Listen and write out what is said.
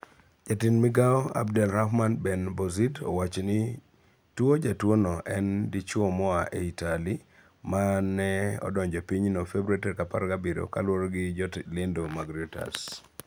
Jatend migao Abdel Rahman Ben Bouzid owachoni tuojatuono en dichwomoa Itali mane odonjo epinyno Februari 17, kaluoregi jolendo ma Reuters.